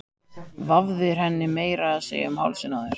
Vafðir henni meira að segja um hálsinn á þér!